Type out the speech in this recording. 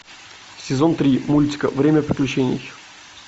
сезон три мультика время приключений